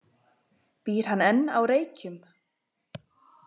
Býr hann enn á Reykjum?